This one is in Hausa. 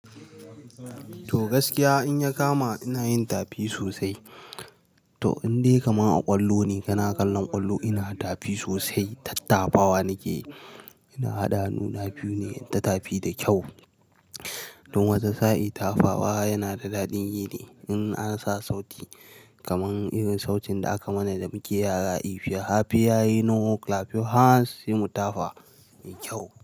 To gaskiya in ya kama ina yin tapi sosai. To in dai kama a ƙwallo ne, kana kallon ƙwallo ina tapi sosai, tattafawa nike. Ina hada hannuna biyu ne, inta tafi da kyau. Don wata sa'i tafawa tana da dadin yi ne. In an sa sauti kamar irin sautin da aka mana da muke yara If your happy and you know clap your hands, sai mu tafa da kyau.